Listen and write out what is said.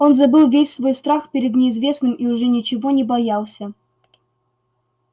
он забыл весь свой страх перед неизвестным и уже ничего не боялся